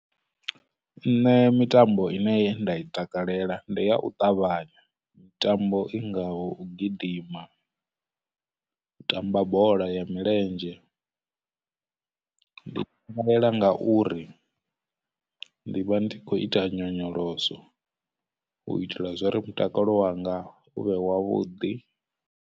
Nṋe mitambo ine nda i takalela ndi ya u ṱavhanya, mitambo i ngaho, u gidima, u tamba bola ya milenzhe. Ndi i takalela ngauri ndi vha ndi khou ita nyonyoloso u itela zwori mutakalo wanga u vhe wavhuḓi.